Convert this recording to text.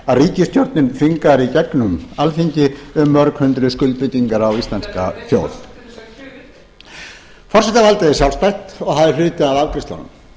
sem ríkisstjórnin þvingar í gegnum alþingi um mörg hundruð skuldbindingar á íslenska þjóð forsetavaldið er sjálfstætt og það er hluti af afgreiðslunni